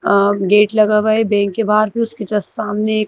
अ gate लगा हुआ है बैंक के बाहर फिर उसके जस्ट सामने एक--